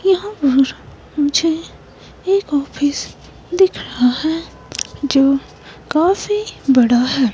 यहां पर मुझे एक ऑफिस दिख रहा है जो काफी बड़ा है।